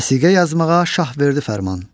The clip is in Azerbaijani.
Vəsiqə yazmağa şah verdi fərman.